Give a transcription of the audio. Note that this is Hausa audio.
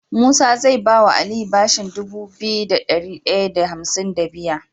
Musa zai bawa aliyu bashin Dubu biyu da dari daya da hamsin da biya